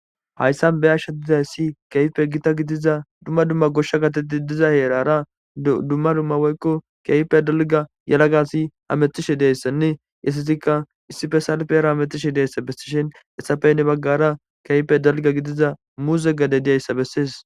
Haysan be'ashe dizaysi kehipe Gita gidiza duma duma gosha gade diza yerara duma duma woyko kehipe dalga yelaga asi hametishe dizaysane isetika isepe salpera hamutishe dizaysa besishe hesape hinibagara kehipe dalga gidiza muuze gade dizaysa beses.